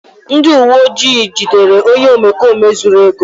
ndị uwe ojii jidere onye omekome zuru ego m